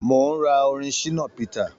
Mò ń ra orin Shina peter